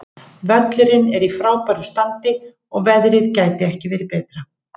Völlurinn er í frábæru standi og veðrið gæti ekki verið betra.